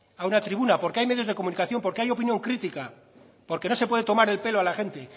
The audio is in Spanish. a una tribuna porque hay menos de comunicación porque hay opinión crítica porque no se puede tomar el pelo a la gente